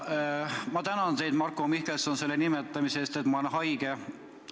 Ma tänan teid, Marko Mihkelson, selle nimetamise eest, et ma olen haige.